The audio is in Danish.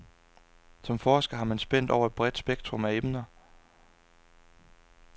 Som forsker har han spændt over et bredt spektrum af emner.